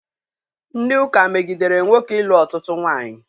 Ndị ụka megidere nwoke ịlụ ọtụtụ nwaanyị.